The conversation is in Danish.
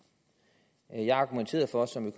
hvor er jeg argumenterede for som